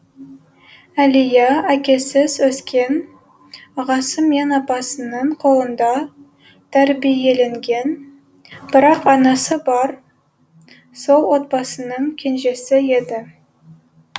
әлия әкесіз өскен ағасы мен апасының қолында тәрбиеленген бірақ анасы бар сол отбасының кенжесі еді